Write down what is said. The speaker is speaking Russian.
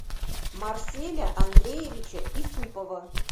марселя андреевича исупова